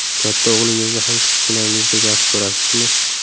Katta o‘g‘lingizni ham kichkinangizdek yaxshi ko‘rasizmi?